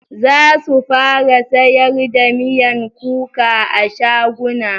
Za su fara sayar da miyan kuka a shaguna.